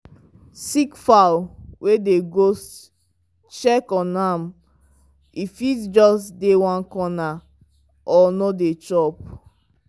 sick fowl were dey ghost check on am e fit just dey one corner or no dey chop.